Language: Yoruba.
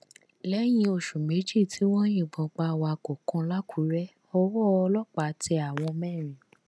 lẹyìn oṣù méjì tí wọn yìnbọn pa awakọ kan làkùrẹ owó ọlọpàá tẹ àwọn mẹrin